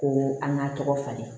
Ko an ka tɔgɔ falen